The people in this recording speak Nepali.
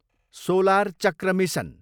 solar Chakra mission